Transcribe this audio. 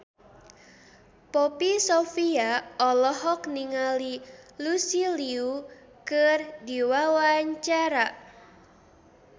Poppy Sovia olohok ningali Lucy Liu keur diwawancara